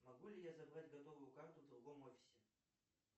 могу ли я забрать готовую карту в другом офисе